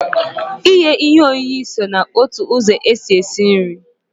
Ị ye ihe oyiye so na otu ụzọ e si esi nri.